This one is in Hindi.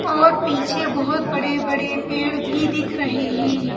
और पीछे बहुत बड़े-बड़े पेड़ भी दिख रहे हैं।